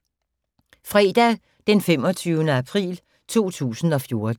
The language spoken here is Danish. Fredag d. 25. april 2014